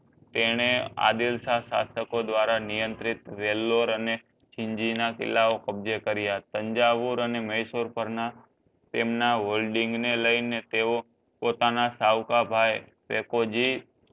તને આદિલ શાહ સધકો ધ્વારા નિયંત્રણ વેલ્લોર અને કિલ્લા કબજે કર્યા હતા સાંઝહોર અને મહેશ્વર પર ના તેમના holding ને લઈ ને તેઓ પોતાના સાવક ભાઈ જી